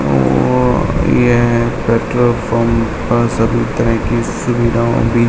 अअअ यह petrol pump सभी तरह की सुविधाओं भी --